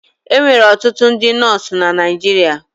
E nwere ọtụtụ ndị nọọsụ na Naịjirịa.